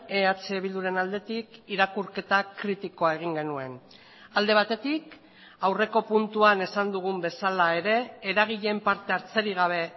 eh bilduren aldetik irakurketa kritikoa egin genuen alde batetik aurreko puntuan esan dugun bezala ere eragileen parte hartzerik gabe